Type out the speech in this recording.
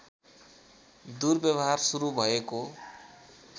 दुर्व्यवहार सुरु भएको